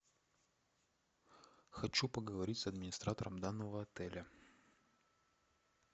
хочу поговорить с администратором данного отеля